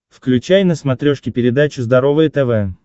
включай на смотрешке передачу здоровое тв